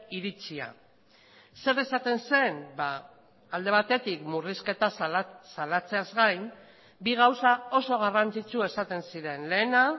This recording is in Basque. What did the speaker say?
iritzia zer esaten zen alde batetik murrizketa salatzeaz gain bi gauza oso garrantzitsu esaten ziren lehena